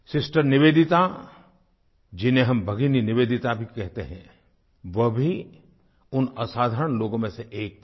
sister Nivedita जिन्हें हम भगिनी निवेदिता भी कहते हैं वो भी उन असाधारण लोगों में से एक थीं